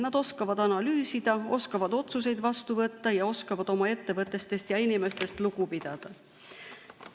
Nad oskavad analüüsida, oskavad otsuseid vastu võtta ja oskavad oma ettevõtetest ja inimestest lugu pidada.